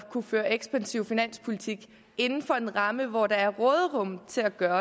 at kunne føre en ekspansiv finanspolitik inden for en ramme hvor der er råderum til at gøre